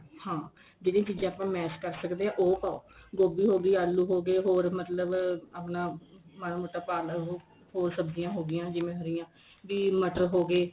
ਹਾਂ ਜਿਹੜੀ ਚੀਜ਼ਾਂ ਆਪਾਂ ਮੈਸ਼ ਕਰ ਸਕਦੇ ਆ ਉਹ ਪਾਉ ਗੋਬੀ ਇਹੋ ਗਈ ਆਲੂ ਉਹੋ ਗਏ ਹੋਰ ਮਤਲਬ ਆਪਣਾ ਮਾੜਾ ਮੋਟਾ ਪਾ ਲੋ ਹੋਰ ਸਬਜੀਆਂ ਹੋ ਗਿਆ ਜਿਵੇਂ ਹਰੀਆਂ ਬੀ ਮਟਰ ਹੋ ਗਏ